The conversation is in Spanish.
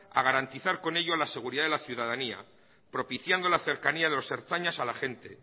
a garantizar con ello la seguridad de la ciudadanía propiciando la cercanía de los ertzainas a la gente